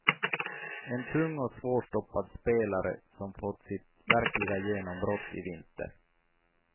En tung och svårstoppad spelare som fått sitt verkliga genombrott i vinter.